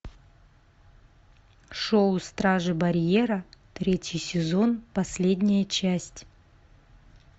шоу стражи барьера третий сезон последняя часть